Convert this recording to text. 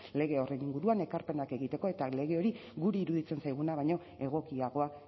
lege horren inguruan ekarpenak egiteko eta lege hori guri iruditzen zaiguna baino egokiagoa